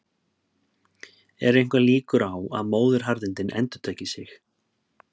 eru einhverjar líkur á að móðuharðindin endurtaki sig